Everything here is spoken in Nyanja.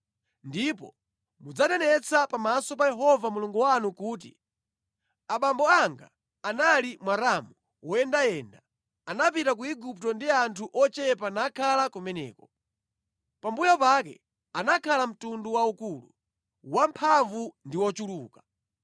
Ndipo mudzanenetsa pamaso pa Yehova Mulungu wanu kuti, “Abambo anga anali Mwaramu woyendayenda, anapita ku Igupto ndi anthu ochepa nakhala kumeneko. Pambuyo pake anakhala mtundu waukulu, wamphamvu ndi wochuluka.